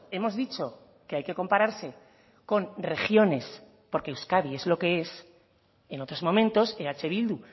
hemos dicho que hay que compararse con regiones porque euskadi es lo que es en otros momentos eh bildu